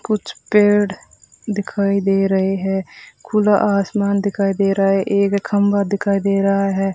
कुछ पेड़ दिखाई दे रहे हैं खुला आसमान दिखाई दे रहा है एक खंभा दिखाई दे रहा है।